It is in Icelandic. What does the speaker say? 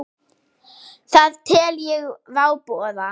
Það tel ég váboða.